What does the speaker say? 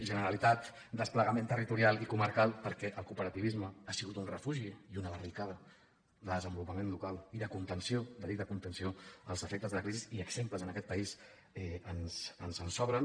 generalitat desplegament territorial i comarcal perquè el cooperativisme ha sigut un refugi i una barricada de desenvolupament local i de contenció de dic de contenció als efectes de la crisi i exemples en aquest país ens en sobren